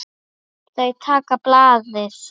Þau taka blaðið.